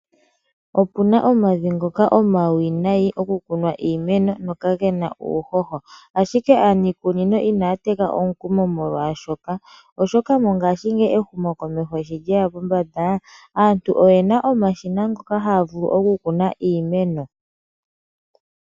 Opu na omavi ngoka omawinayi okukunwa iimeno go kage na uuhoho ashike aanikunino ina ya teka omukumo molwashoka, oshoka mongaashingeyi ehumokomeho sholyeya pombanda aantu oye na omashina ngoka haya vulu okukuna iimeno.